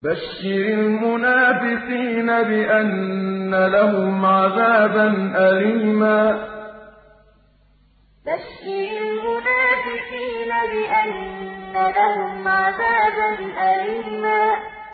بَشِّرِ الْمُنَافِقِينَ بِأَنَّ لَهُمْ عَذَابًا أَلِيمًا بَشِّرِ الْمُنَافِقِينَ بِأَنَّ لَهُمْ عَذَابًا أَلِيمًا